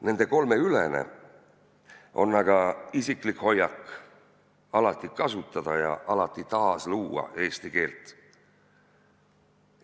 Nende kolme ülene on aga isiklik hoiak alati kasutada ja alati taasluua eesti keelt.